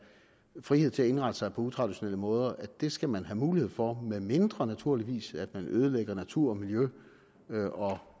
frihed til at indrette sig på utraditionelle måder skal man have mulighed for medmindre naturligvis at man ødelægger natur og miljø og